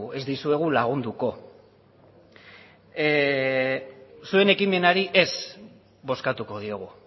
ez dizuegu lagunduko zuen ekimenari ez bozkatuko diogu